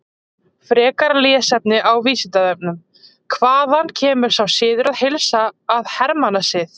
Frekara lesefni á Vísindavefnum: Hvaðan kemur sá siður að heilsa að hermannasið?